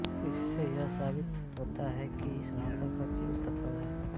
इससे यह साबित होता है की इस भाषा का उपयोग सफल है